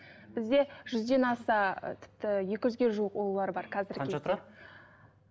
бізде жүзден аса тіпті екі жүзге жуық ұлулар бар қанша тұрады